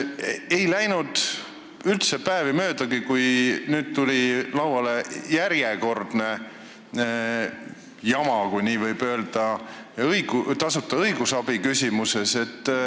Ei läinud aga veel päevagi mööda, kui tuli välja järjekordne jama, kui nii võib öelda, tasuta õigusabi küsimuses.